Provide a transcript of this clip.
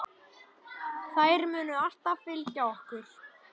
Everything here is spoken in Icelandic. Þær munu alltaf fylgja okkur.